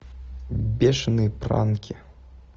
бешеные пранки